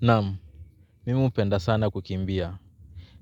Naam. Mimi upenda sana kukimbia.